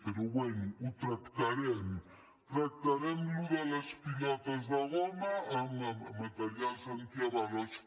però bé ho tractarem tractarem això de les pilotes de goma materials antiavalots